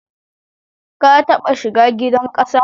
Ka taɓa shiga gidan ƙasa